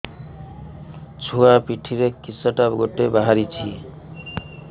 ଛୁଆ ପିଠିରେ କିଶଟା ଗୋଟେ ବାହାରିଛି